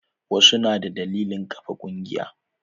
Wasu na da dalilin ƙafa ƙungiya.